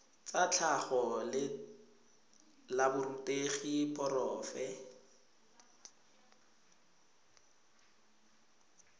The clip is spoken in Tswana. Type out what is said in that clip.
tsa tlhago la borutegi porofe